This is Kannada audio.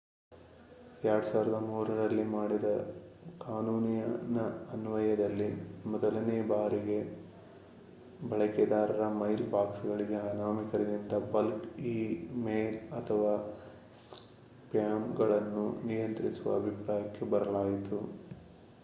2003ರಲ್ಲಿ ಮಾಡಿದ ಕಾನೂನಿನ ಅನ್ವಯದಲ್ಲಿ ಇದೇ ಮೊದಲ ಬಾರಿಗೆ ಬಳಕೆದಾರರ ಮೈಲ್ ಬಾಕ್ಸ್‌ಗಳಿಗೆ ಅನಾಮಿಕರಿಂದ ಬಲ್ಕ್ ಈ ಮೇಲ್ ಅಥವಾ ಸ್ಪ್ಯಾಮ್‌ಗಳನ್ನು ನಿಯಂತ್ರಿಸುವ ಅಭಿಪ್ರಾಯಕ್ಕೆ ಬರಲಾಯಿತು